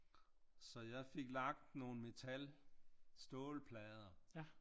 Så jeg fik lagt nogle metal stålplader